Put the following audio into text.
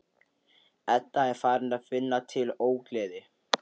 Edda er farin að finna til ógleði.